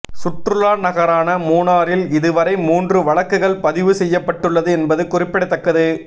சுற்றுலா நகரான மூணாறில் இது வரை மூன்று வழக்குகள்பதிவு செய்யப்பட்டுள்ளது என்பது குறிப்பிடத்தக்கது